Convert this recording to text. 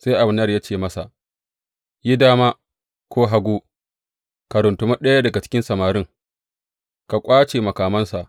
Sai Abner ya ce masa, Yi dama ko hagu ka runtumi ɗaya daga cikin samarin, ka ƙwace makamansa.